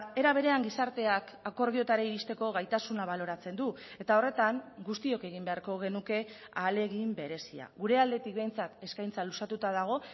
era berean gizarteak akordioetara iristeko gaitasuna baloratzen du eta horretan guztiok egin beharko genuke ahalegin berezia gure aldetik behintzat eskaintza luzatuta dago